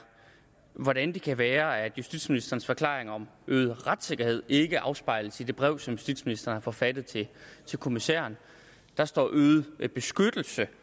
hvordan det kan være at justitsministerens forklaring om øget retssikkerhed ikke afspejles i det brev som justitsministeren har forfattet til kommissæren der står øget beskyttelse